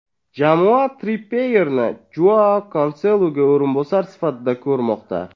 Jamoa Trippyerni Joau Kanseluga o‘rinbosar sifatida ko‘rmoqda.